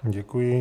Děkuji.